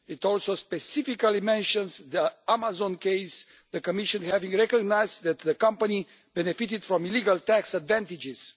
It also specifically mentions the Amazon case the Commission having recognised that the company benefited from illegal tax advantages.